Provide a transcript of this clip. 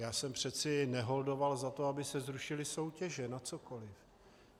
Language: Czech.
Já jsem přece neholdoval za to, aby se zrušily soutěže na cokoliv.